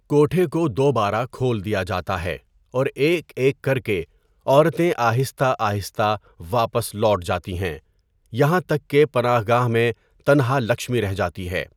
کوٹھے کو دوبارہ کھول دیا جاتا ہے اور ایک ایک کر کے، عورتیں آہستہ آہستہ واپس لوٹ جاتی ہیں، یہاں تک کہ پناہ گاہ میں تنہا لکشمی رہ جاتی ہے۔